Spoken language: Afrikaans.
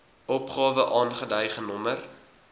opgawe aangedui genommer